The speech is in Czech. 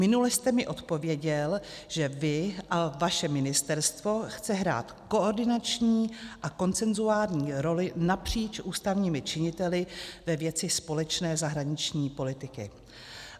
Minule jste mi odpověděl, že vy a vaše ministerstvo chce hrát koordinační a konsenzuální roli napříč ústavními činiteli ve věci společné zahraniční politiky.